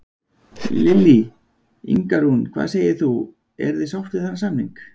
Lillý: Inga Rún, hvað segir þú, eruð þið sátt við þennan samning?